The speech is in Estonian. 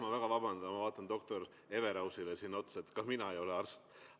Ma väga vabandan, ma vaatan doktor Everausile siin otsa, ka mina ei ole arst.